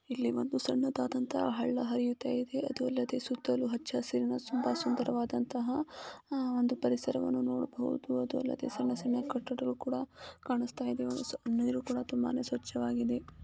ಇಲ್ಲಿ ಒಂದು ಸಣ್ಣದಾದಂತ ಹಳ್ಳ ಹರಿಯುತ್ತಿದೆ. ಅದು ಅಲ್ಲದೆ ಸುತ್ತಲೂ ಹಚ್ಚ ಹಸಿರನ ತುಂಬಾ ಸುಂದರವಾದಂತಹ ಒಂದು ಪರಿಸರವನ್ನ ನೋಡಬಹುದು .ಅದು ಅಲ್ಲದೆ ಸಣ್ಣ ಸಣ್ಣ ಕಟ್ಟಡಗಳು ಕೂಡ ಕಾಣಿಸ್ತಾ ಇದೆ. ನೀರು ಕೂಡ ತುಂಬಾ ಸ್ವಚ್ಛವಾಗಿದೆ.